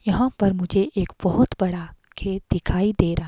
यहां पर मुझे एक बहुत बड़ा खेत दिखाई दे रहा--